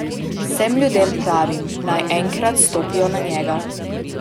Vsem ljudem pravim, naj enkrat stopijo na njega.